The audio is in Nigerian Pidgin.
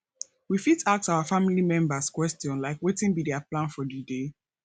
we fit ask our family members question like wetin be their plan for di day